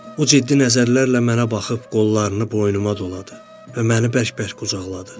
O ciddi nəzərlərlə mənə baxıb qollarını boynuma doladı və məni bərk-bərk qucaqladı.